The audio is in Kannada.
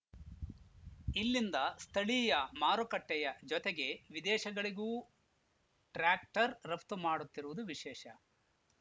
ಇಲ್ಲಿಂದ ಸ್ಥಳೀಯ ಮಾರುಕಟ್ಟೆಯ ಜೊತೆಗೆ ವಿದೇಶಗಳಿಗೂ ಟ್ರ್ಯಾಕ್ಟರ್‌ ರಫ್ತು ಮಾಡುತ್ತಿರುವುದು ವಿಶೇಷ